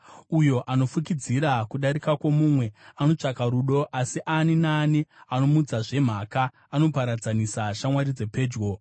Uyo anofukidzira kudarika kwomumwe anotsvaka rudo, asi ani naani anomutsazve mhaka anoparadzanisa shamwari dzepedyo.